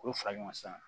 K'o fara ɲɔgɔn kan sisan